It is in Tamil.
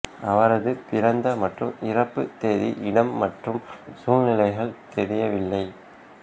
அவரது பிறந்த மற்றும் இறப்பு தேதி இடம் மற்றும் சூழ்நிலைகள் தெரியவில்லை